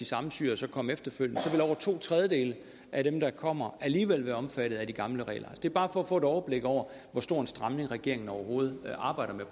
samme syrere så kom efterfølgende så ville over to tredjedele af dem der kommer alligevel være omfattet af de gamle regler det er bare for få et overblik over hvor stor en stramning regeringen overhovedet arbejder med